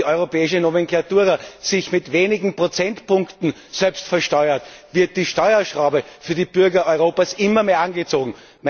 Während die europäische Nomenklatura sich mit wenigen Prozentpunkten selbst besteuert, wird die Steuerschraube für die Bürger Europas immer mehr angezogen.